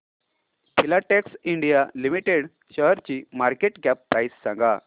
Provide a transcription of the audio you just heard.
Filatex India Limited शेअरची market cap price सांगा